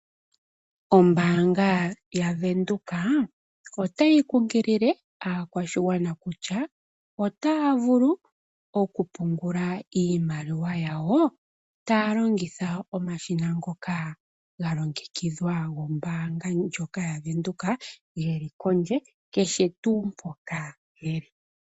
Ombaanga yaVenduka otayi kunkilile aakwashigwana kutya otaya vulu okupungula iimaliwa yawo taya longitha omashina ngoka ga longekidhwa kombaanga ndjoka yaVenduka ge li pondje, kehe tuu mpoka ye li.